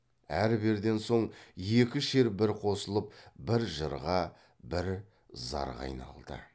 әрберден соң екі шер бір қосылып бір жырға бір зарға айналды